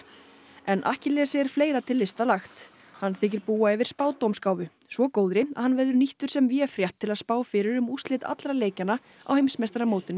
en Akkilesi er fleira til lista lagt hann þykir búa yfir spádómsgáfu svo góðri að hann verður nýttur sem véfrétt til að spá fyrir um úrslit allra leikjanna á heimsmeistaramótinu í